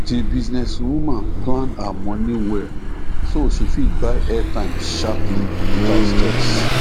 the business woman plan her money well so she fit buy airtime sharperly without stress